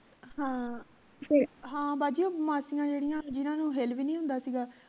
ਹਾਂ ਫੇਰ ਬਾਜੀ ਉਹ ਮਾਸੀਆਂ ਜਿਹੜੀਆਂ ਜਿੰਨਾ ਤੋਂ ਹਿੱਲ ਵੀ ਨਹੀਂ ਹੁੰਦਾ ਸੀ ਗਾ